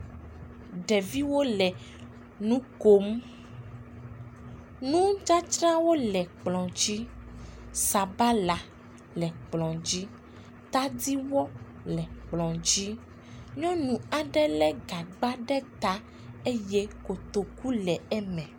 Ɖeviwo le nu kom, nu dzadzrawo le kplɔ dzi sabala le kplɔ dzi, tadiwɔ le kplɔ dzi nyɔnu aɖe lé gagba ɖe ta eye kotokuwo le eme.